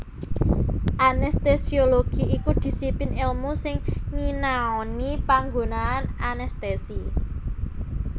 Anestesiologi iku disiplin èlmu sing nyinaoni panggunaan anestesi